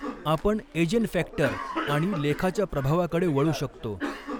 आपण ऐजेनफॅक्टर आणि लेखाच्या प्रभावाकडे वळू शकतो.